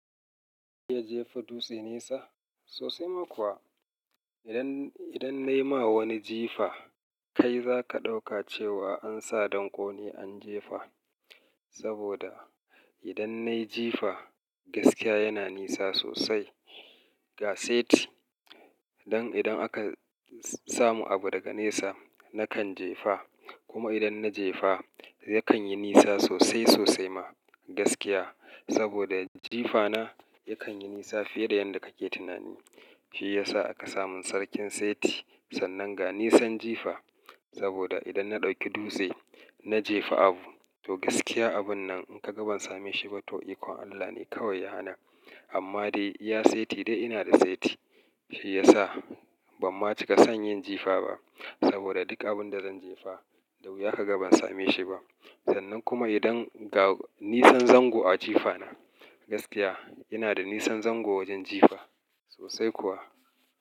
Zaka jefa dutse nesa sosai ma kuwa. Idan, idan na yi ma wani jifa kai zaka ɗauka cewa an sa dankone an jefa. Saboda idan na yi jifa gaskiya yana nisa sosai. Ga seti don idan aka samu abu daga nesa nakan jefa. Kuma idan na jefa yakan yi nisa sosai sosai ma gaskiya. Saboda jifana yakan yi nisa fiye da yadda kake tunani. Shi ya sa aka samin sarkin seti sannan ga nisan jifa. Saboda idan na ɗauki dutse na jefa abu to gaskiya abun nan in ka ga ban same shi ba to ikon Allah ne kawai yana. Amma dai iya seti dai ina da seti. Shi ya sa ban ma cika son yin jifa ba. Saboda duk abun da zan jefa, da wuya ka ga ban same shi ba. Sannan kuma idan ga nisan zango a jifana gaskiya yana da nisan zango wajen jifa sosai kuwa.